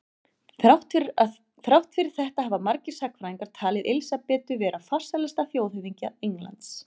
Þrátt fyrir þetta hafa margir sagnfræðingar talið Elísabetu vera farsælasta þjóðhöfðingja Englands.